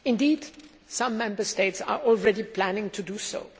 Indeed, some Member States are already planning to do so.